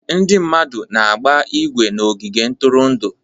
Ndị mmadụ na-agba ígwè na ogige ntụrụndụ.